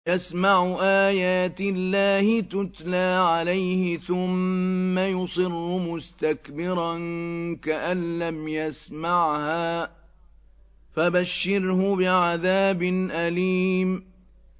يَسْمَعُ آيَاتِ اللَّهِ تُتْلَىٰ عَلَيْهِ ثُمَّ يُصِرُّ مُسْتَكْبِرًا كَأَن لَّمْ يَسْمَعْهَا ۖ فَبَشِّرْهُ بِعَذَابٍ أَلِيمٍ